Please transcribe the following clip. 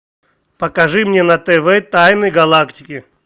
покажи мне на тв тайны галактики